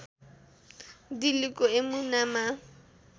दिल्लीको यमुनामा